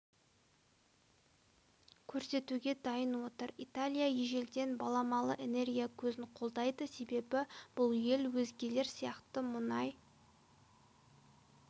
көрсетуге дайын отыр италия ежелден баламалы энергия көзін қолдайды себебі бұл ел өзгелер сияқты мұнай